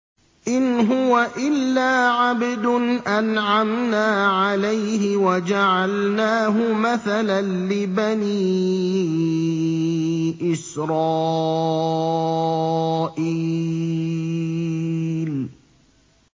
إِنْ هُوَ إِلَّا عَبْدٌ أَنْعَمْنَا عَلَيْهِ وَجَعَلْنَاهُ مَثَلًا لِّبَنِي إِسْرَائِيلَ